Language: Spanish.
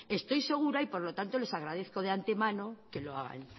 estoy segura y por lo tanto les agradezco de antemano que lo hagan